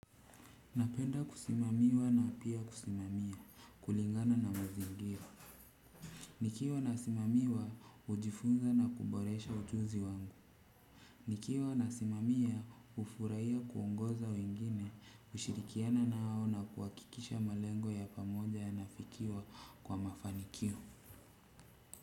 Napenda kusimamiwa na pia kusimamia, kulingana na mazingira. Nikiwa nasimamiwa, ujifunza na kuboresha ujuzi wangu. Nikiwa nasimamia, ufuraia kuongoza wengine, ushirikiana nao na kuwakikisha malengo ya pamoja yanafikiwa kwa mafanikio.